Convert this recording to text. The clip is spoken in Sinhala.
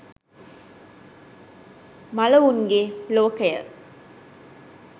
මළවුන්ගේ ලෝකය